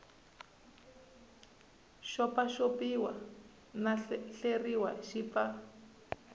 xopaxopiwa no hleriwa xi pfa